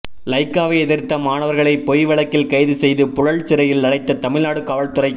லைக்காவை எதிர்த்த மாணவர்களை பொய் வழக்கில் கைதுசெய்து புழல் சிறையில் அடைத்த தமிழ்நாடு காவல்துறை